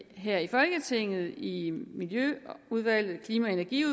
her i folketinget i miljøudvalget klima energi og